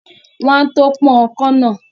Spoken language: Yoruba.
Wọ́n á tó pọ́n ọkọ́ náà